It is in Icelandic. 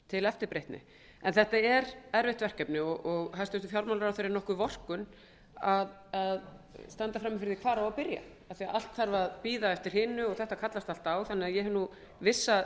til eftirbreytni en þetta er erfitt verkefni og hæstvirtur fjármálaráðherra er kannski nokkur vorkunn að standa frammi fyrir því hvar á að byrja af því að allt þarf að bíða eftir hinu og þetta kallast allt á þannig að ég hef vissa